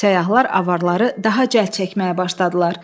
Səyyahlar avarları daha cəld çəkməyə başladılar.